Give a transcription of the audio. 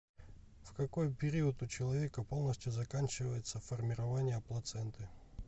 в какой период у человека полностью заканчивается формирование плаценты